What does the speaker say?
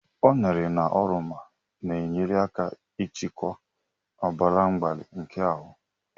Ụnere na oroma na-enyere aka ịchịkwa ọbara mgbali nke ahụ.